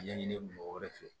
Ɲɛɲini o wɛrɛ fɛ